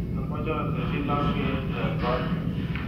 Amache atesyi lapkeiyet eng koot ni